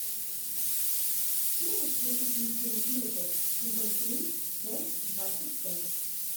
можешь включить мультфильм лютер сезон три часть двадцать пять